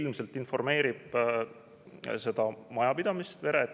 Ilmselt informeerib seda majapidamist: "Tere!